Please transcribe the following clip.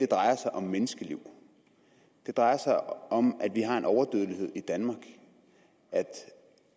drejer sig om menneskeliv det drejer sig om at vi har en overdødelighed i danmark at